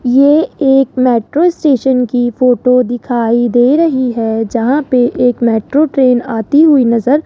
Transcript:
ये एक metro station की फोटो दिखाई दे रही है जहां पे एक मेट्रो ट्रेन आती हुई नजर --